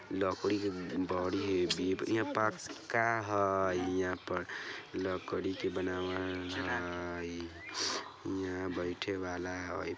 लकड़ी के हियाँ पक्का हई लकड़ी के बनावल हई हियाँ बइठे वाला हई।